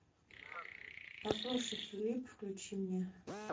послушай филип включи мне